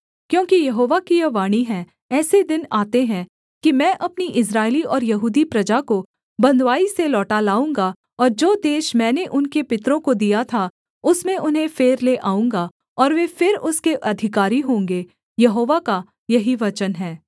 क्योंकि यहोवा की यह वाणी है ऐसे दिन आते हैं कि मैं अपनी इस्राएली और यहूदी प्रजा को बँधुआई से लौटा लाऊँगा और जो देश मैंने उनके पितरों को दिया था उसमें उन्हें फेर ले आऊँगा और वे फिर उसके अधिकारी होंगे यहोवा का यही वचन है